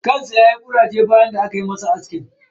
kan sa yayi kuraje bayan da aka mishi aski.